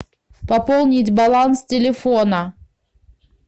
пополнить баланс телефона